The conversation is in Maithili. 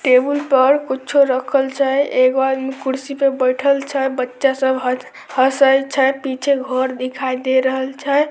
टेबुल पर कुछो रखल छै एगो आदमी कुर्सी पे बैठल छै बच्चा सब ह-हसे छै पीछे घर दिखाई दे रहल छै।